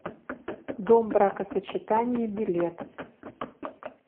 дом бракосочетания билет